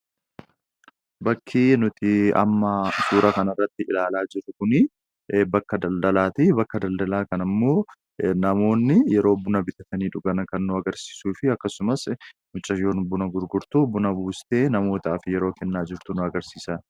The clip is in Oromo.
Bakki juti amma suura kanarratti ilaalaa jirru kun bakka daldalaati. Bakka daldalaa kanammoo namoonni yeroo buna bitatanii dhugan kan agarsiisuu fi akkasumas mucayyoon buna gurgurtu buna buustee namootaaf yeroo kenna jirtu agarsiisa.